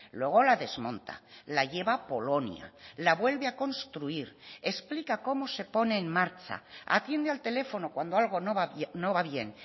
luego la desmonta la lleva a polonia la vuelve a construir explica cómo se pone en marcha atiende al teléfono cuando algo no va bien